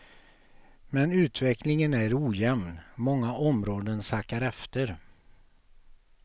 Men utvecklingen är ojämn, många områden sackar efter.